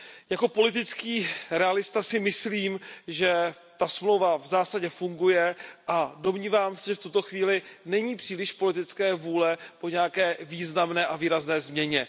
Jako politický realista si myslím, že ta smlouva v zásadě funguje a domnívám se, že v tuto chvíli není příliš politické vůle k nějaké významné a výrazné změně.